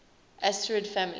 asterid families